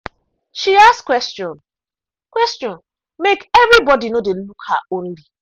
she ask question question make everybody no dey look her only.